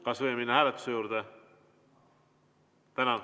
Kas võime minna hääletuse juurde?